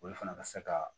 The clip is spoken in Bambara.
Olu fana ka se ka